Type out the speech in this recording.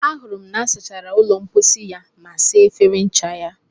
ahụrụ m na m sachara ụlọ mposi ya na saa efere ncha